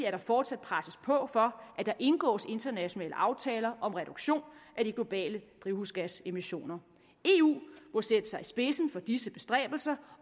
at der fortsat presses på for at der indgås internationale aftaler om reduktion af de globale drivhusgasemissioner eu må sætte sig i spidsen for disse bestræbelser